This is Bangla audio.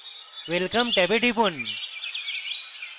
welcome ট্যাবে টিপুন